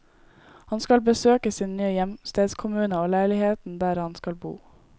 Han skal besøke sin nye hjemstedskommune og leiligheten der han skal bo.